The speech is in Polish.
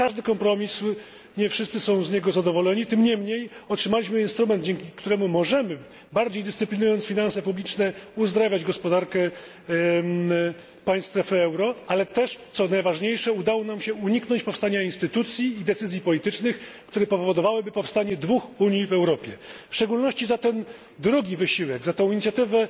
Jak każdy kompromis nie wszyscy są z niego zadowoleni, tym niemniej otrzymaliśmy instrument, dzięki któremu możemy, bardziej dyscyplinując finanse publiczne, uzdrawiać gospodarkę państw strefy euro, ale też, co najważniejsze, udało nam się uniknąć powstania instytucji i decyzji politycznych, które powodowałyby powstanie dwóch unii w Europie. W szczególności za ten drugi wysiłek, za tę inicjatywę,